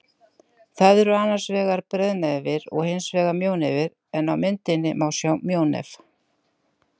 Það eru annars vegar breiðnefir og hins vegar mjónefir en á myndinni má sjá mjónef.